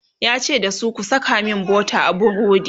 yace da su "ku Saka min butter a burodi!"